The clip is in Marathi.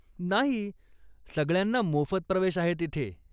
नाही, सगळ्यांना मोफत प्रवेश आहे तिथे.